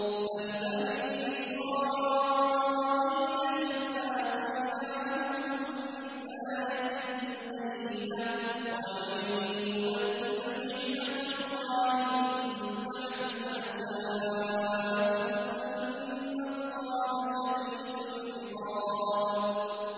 سَلْ بَنِي إِسْرَائِيلَ كَمْ آتَيْنَاهُم مِّنْ آيَةٍ بَيِّنَةٍ ۗ وَمَن يُبَدِّلْ نِعْمَةَ اللَّهِ مِن بَعْدِ مَا جَاءَتْهُ فَإِنَّ اللَّهَ شَدِيدُ الْعِقَابِ